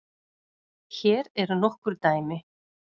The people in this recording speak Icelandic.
Hér eru nokkur dæmi